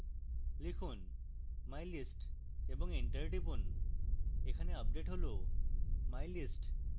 লিখুন mylist এবং enter টিপুন এখানে আপডেট হল mylist